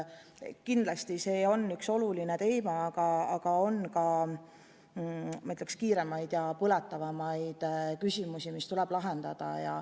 Kindlasti on see oluline teema, aga praeguses koroonakriisis on, ma ütleksin, kiiremaid ja põletavamaid küsimusi, mis tuleb lahendada.